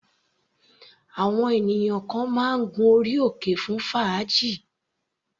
Àwọn ènìyàn kan máa ń gun orí òkè fún fàájì.